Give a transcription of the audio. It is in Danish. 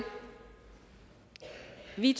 vi